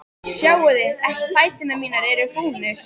Sjáiði ekki að fætur mínir eru fúnir?